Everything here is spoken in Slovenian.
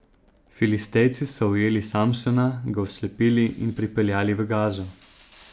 Filistejci so ujeli Samsona, ga oslepili in pripeljali v Gazo.